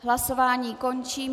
Hlasování končím.